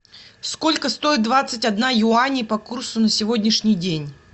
сколько стоит двадцать одна юаней по курсу на сегодняшний день